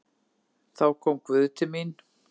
Þá kom Guð til mín.